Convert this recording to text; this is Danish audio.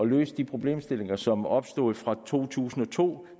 løse de problemstillinger som opstod fra to tusind og to